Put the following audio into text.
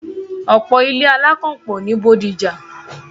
ọ̀pọ̀ ilé -alákànpọ̀ ni Bódìjà.